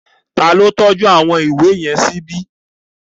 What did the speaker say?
Ta ló tọ́jú àwọn ìwé yẹn síbi?